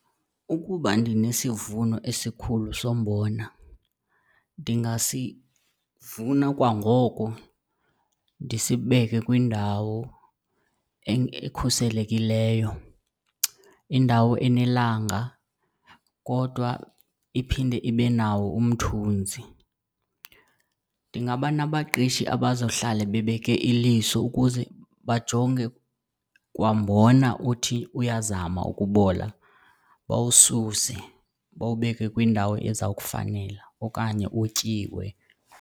Ukuba ndinesivuno esikhulu sombona ndingasivuna kwangoko ndisibeke kwindawo ekhuselekileyo, indawo enelanga kodwa iphinde ibe nawo umthunzi. Ndingaba nabaqeshi abazohlala bebeke iliso ukuze bajonge kwambona uthi uyazama ukubola, bawususe bawubeke kwindawo ezawukufanela okanye utyiwe.